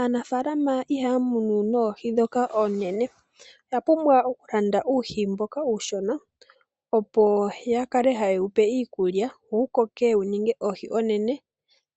Aanafaalama ihaa munu oohi dhoka oonene. Oya pumbwa okulanda uuhi mboka uushona, opo ya kale haye wupe iikulya, wo wukoke wu ninge oohi oonene,